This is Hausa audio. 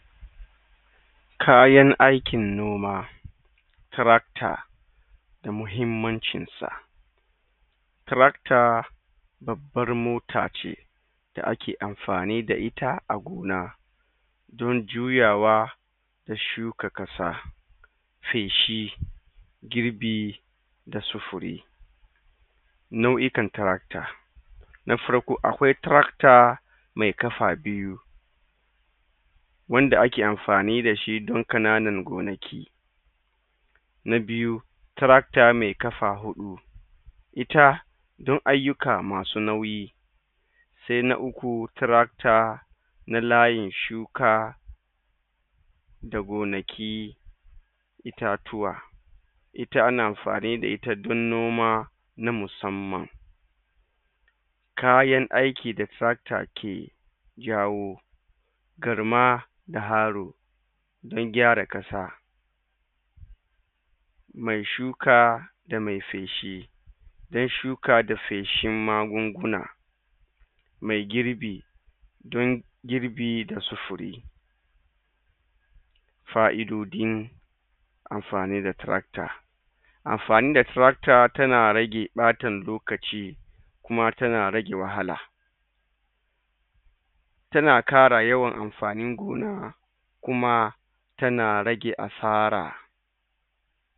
kayan aikin noma tirakta da mahimmancinsa tirakta babbar mota ce da ake afanni da ita dan juyawa da shuka ƙasa feshi girbi da sufuri nau ikan tirakta na farko akwai tirakta me ƙafa biyu wanda ake amfani dashi da ƙanan go naki na biyu trakta me ƙafa huɗu ita don aiyuka masu nauyi se na uku tirakta na layin shuka da gonaki ita tuwa ita an amfani da ita don noma na musamman kayan aiki da tirakta ke jawo garma da arro da gyara ƙasa me shuka da me feshi dan shuka da feshin magun guna me girbi don girbi dasu fire fa'idodin amfani da tirakta amfani da tirakta tana rage ɓata lokaci kuma tana rage wahala tana ƙara yawan amfanin gona kuma tana rage asara